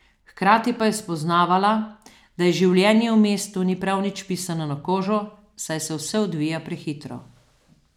Hkrati pa je spoznavala, da ji življenje v mestu ni prav nič pisano na kožo, saj se vse odvija prehitro.